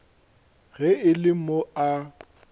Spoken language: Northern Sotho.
ge e le mo a